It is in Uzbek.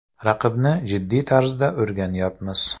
Raqibni jiddiy tarzda o‘rganyapmiz.